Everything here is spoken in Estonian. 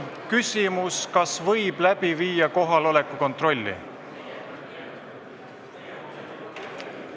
Küsimus, kas võib läbi viia kohaloleku kontrolli?